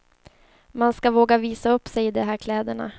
Man ska våga visa upp sig i de här kläderna.